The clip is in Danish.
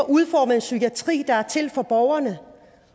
udformet en psykiatri der er til for borgerne